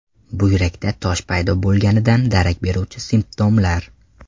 Buyrakda tosh paydo bo‘lganidan darak beruvchi simptomlar.